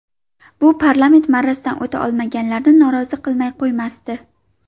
Bu parlament marrasidan o‘ta olmaganlarni norozi qilmay qo‘ymasdi.